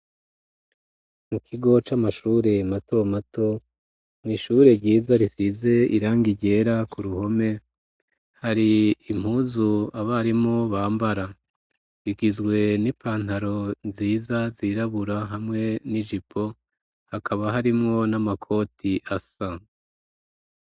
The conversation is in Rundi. Mu kigo c'amashure mato mato, mw'ishure ryiza rifize iranga ryera ku ruhome hari impuzu abarimo bambara rigizwe n'ipantaro nziza zirabura hamwe n'igipo hakaba harimwo n'amakoti asa.